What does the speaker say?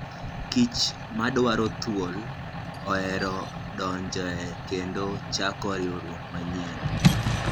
Kich madwaro thuol ohero donjoe kendo chako riwruok manyien